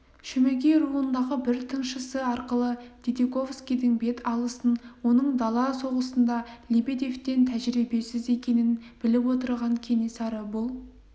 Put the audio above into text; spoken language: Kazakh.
шөмекей руындағы бір тыңшысы арқылы дидиковскийдің бет алысын оның дала соғысында лебедевтен тәжірибесіз екенін біліп отырған кенесары бұл